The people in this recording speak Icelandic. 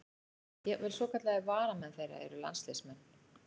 Jafnvel svokallaðir varamenn þeirra eru landsliðsmenn.